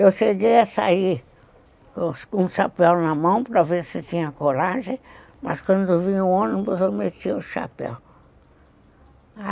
Eu cheguei a sair com o chapéu na mão para ver se tinha coragem, mas quando vinha o ônibus eu metia o chapéu.